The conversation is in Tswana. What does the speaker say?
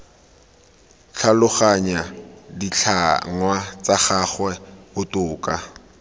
tlhaloganya ditlhangwa tsa gagwe botoka